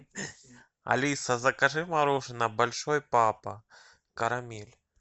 алиса закажи мороженое большой папа карамель